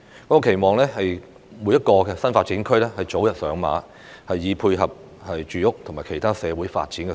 我期望各個新發展區早日上馬，以配合住屋及其他社會發展的需要。